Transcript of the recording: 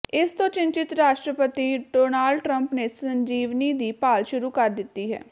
ਇਸ ਤੋਂ ਚਿੰਤਤ ਰਾਸ਼ਟਰਪਤੀ ਡੋਨਾਲਡ ਟਰੰਪ ਨੇ ਸੰਜੀਵਨੀ ਦੀ ਭਾਲ ਸ਼ੁਰੂ ਕਰ ਦਿੱਤੀ ਹੈ